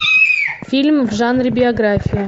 фильм в жанре биография